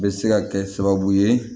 Bɛ se ka kɛ sababu ye